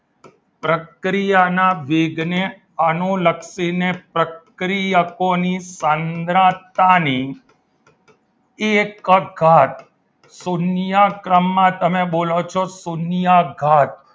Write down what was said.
પ્રક્રિયાના વેગને અનુલક્ષીને પ્રક્રિયાના પ્રક્રિયાકોની સાંદ્રતાની એક જ ઘાત શૂન્ય ક્રમમાં તમે બોલો છો શૂન્ય ઘાત